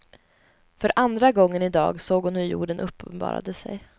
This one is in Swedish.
För andra gången idag såg hon hur jorden uppenbarade sig.